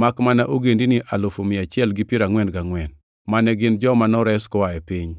makmana ogendini alufu mia achiel gi piero angʼwen gangʼwen (144,000) mane gin joma nores koa e piny.